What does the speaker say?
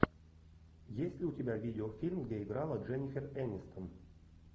есть ли у тебя видеофильм где играла дженнифер энистон